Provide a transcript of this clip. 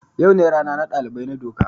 Yau ne rana na dalibai na doka.